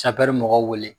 mɔgɔw wele